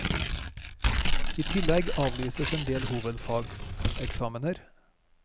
I tillegg avlyses en del hovefagseksamener.